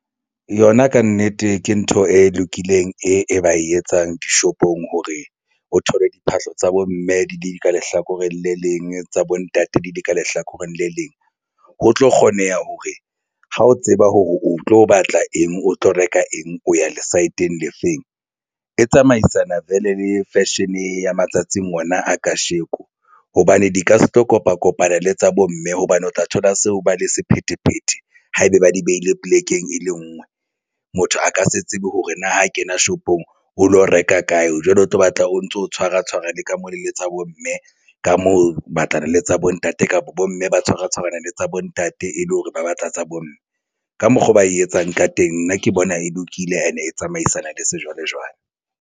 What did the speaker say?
Yona kannete ke ntho e lokileng e ba e etsang dishopong hore o thole diphahlo tsa bo mme di le ka lehlakoreng le leng tsa bo ntate di le ka lehlakoreng le leng. Ho tlo kgoneha hore ha o tseba hore o tlo batla eng, o tlo reka eng, o ya le saeteng le feng. E tsamaisana vele le fashion ya matsatsing ona a kasheko hobane di ka se tlo kopa kopana le tsa bomme hobane o tla thola seo ba le sephethephethe ha ebe ba di beile polekeng e le ngwe motho a ka se tsebe hore na ha kena shopong o lo reka kae, o jwale o tlo batla o ntso tshwara tshwarana le ka mo le tsa bomme, ka moo batlana le tsa bo ntate kapa bo mme ba tshwara tshwarana le tsa bontate e le hore o batla tsa bomme ka mokgo ba e etsang ka teng nna ke bona e lokile and-e tsamaisana le sejwalejwale.